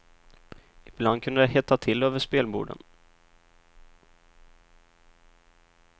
Ibland kunde det hetta till över spelborden.